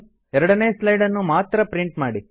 ಎರಡನೇ ಸ್ಲೈಡ್ ನ್ನು ಮಾತ್ರ ಪ್ರಿಂಟ್ ಮಾಡಿ